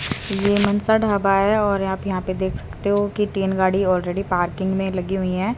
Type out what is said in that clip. ये मनसा ढाबा है और आप यहां पर देख सकते हो की तीन गाड़ी ऑलरेडी पार्किंग में लगी हुई है।